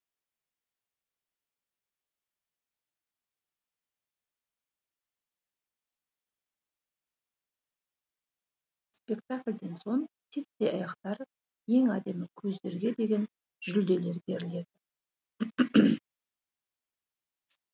спектакльден соң титтей аяқтар ең әдемі көздерге деген жүлделер беріледі